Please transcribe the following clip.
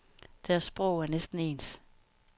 Deres sprog er næsten ens.